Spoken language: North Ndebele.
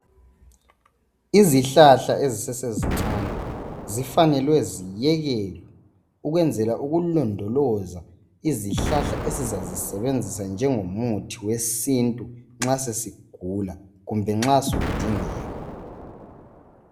Izihlahla ezisesezincane zifanele ziyekelwe ukwenzela ukulondoloza izihlahla esizazisebenzisa njengomuthi wesintu nxa sesigula kumbe nxa usudingeka